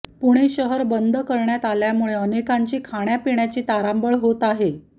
पुणे शहर बंद करण्यात आल्यामुळे अनेकांची खाण्यापिण्याची तारांबळ होत आहे